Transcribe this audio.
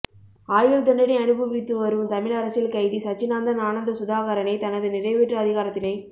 ஆயுள்தண்டனை அனுபவித்து வரும் தமிழ் அரசியல் கைதி சச்சிதானந்தன் ஆனந்த சுதாகரனை தனது நிறைவேற்று அதிகாரத்தினை